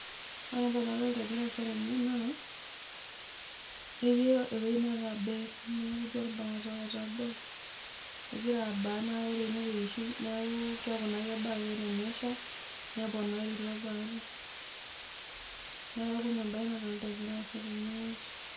Ore embae nadoolta egira aasa tene, naa etii ewoji netabee nijo olbaata etabee egira abaa naa ore enewoji etabee neeku naa kebaa ake oshi tenesha neponari ilo baata neeku ina embae nadoolta egira aasa tene oji.